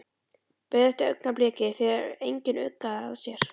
Beið eftir augnabliki þegar enginn uggði að sér.